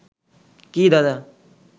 কী দাদা